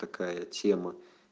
такая тема